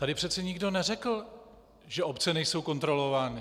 Tady přece nikdo neřekl, že obce nejsou kontrolovány.